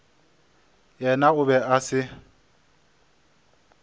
yena o be a se